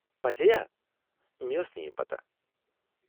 پٔزی ہا ؟ مےٚ ٲس نہٕ یہِ پتہ!